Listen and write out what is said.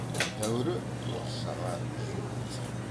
бір тәуірі орысшаға жүйрік деседі